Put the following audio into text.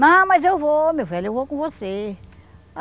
Não, mas eu vou, meu velho, eu vou com você.